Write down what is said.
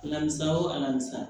Alamisa